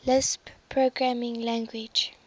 lisp programming language